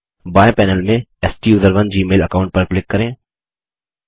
बायें पैनल में स्टूसरोन जीमेल अकाऊंट पर क्लिक करें